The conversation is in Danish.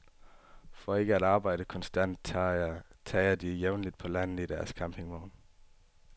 For ikke at arbejde konstant, tager de jævnligt på landet i deres campingvogn.